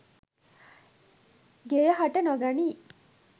ගෙය හට නොගනියි.